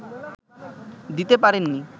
দিতে পারেননি